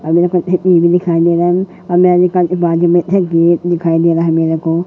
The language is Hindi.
दे रहा है मेरे को।